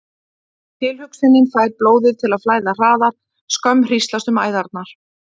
Tilhugsunin fær blóðið til að flæða hraðar, skömm hríslast um æðarnar.